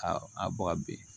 A a bɔ ka bin